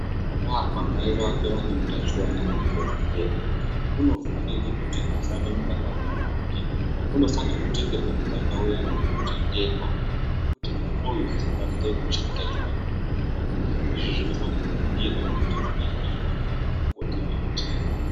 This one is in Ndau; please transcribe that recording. Akabarwa mai vake vane utachiwana hwemukondombera, unofanirwe kuti asamwe mukaka wamai vake. Unofanirwe kutengerwe mukaka uyani unotengerwa ngekuti mwana uyu asabatire utachiwana. Izvi zvinofanira kuningirwa kuti mai vacho vanofane kupota veite.